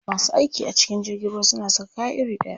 Masu aiki a cikin jirgin ruwa suna saka kaya iri ɗaya.